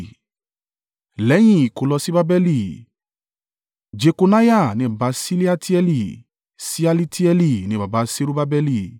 Lẹ́yìn ìkólọ sí Babeli: Jekoniah ni baba Ṣealitieli; Ṣealitieli ni baba Serubbabeli;